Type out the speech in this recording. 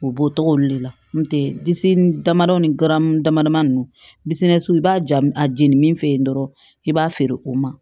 U b'o tɔgɔ olu de la n'o tɛ disi damadɔ ni gamugu dama dama ninnu i b'a ja a jeni min fɛ yen dɔrɔn i b'a feere o ma